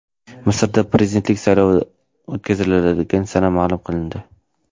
Misrda prezidentlik saylovi o‘tkaziladigan sana ma’lum qilindi.